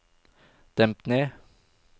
demp ned